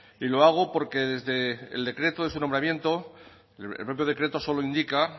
y lo hago porque desde el decreto de su nombramiento el propio decreto solo indica